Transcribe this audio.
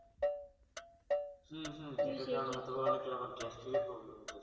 হুম হুম গ্যাস ট্যাঁস এর problem হতো